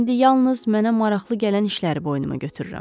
İndi yalnız mənə maraqlı gələn işləri boynuma götürürəm.